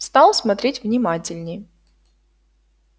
стал смотреть внимательней